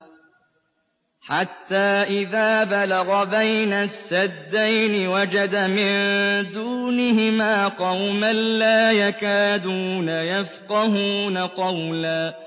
حَتَّىٰ إِذَا بَلَغَ بَيْنَ السَّدَّيْنِ وَجَدَ مِن دُونِهِمَا قَوْمًا لَّا يَكَادُونَ يَفْقَهُونَ قَوْلًا